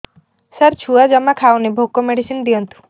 ସାର ଛୁଆ ଜମା ଖାଉନି ଭୋକ ମେଡିସିନ ଦିଅନ୍ତୁ